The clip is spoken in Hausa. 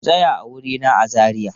Ku tsaya a wurina a Zariya!